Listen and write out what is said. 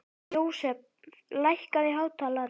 Jósef, lækkaðu í hátalaranum.